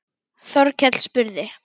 Þorkell spurði